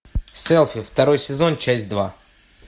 селфи второй сезон часть два